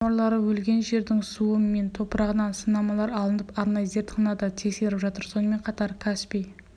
теңіз жануарлары өлген жердің суы мен топырағынан сынамалар алынып арнайы зертханада тексеріп жатыр сонымен қатар каспий